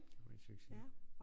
Var en succes